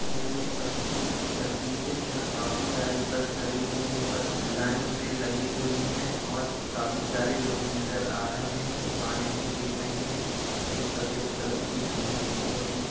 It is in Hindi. यह एक बस टैंड की तस्वीर है जहां काफ़ी सारी बस खड़ी हुई हैं। बस लाइन में लगी हुईं है और काफ़ी सारे लोग नज़र आ रहें हैं। दुकाने भी दिख रहीं हैं। एक सपेद कलर की बिल्डिंग दिख रही है।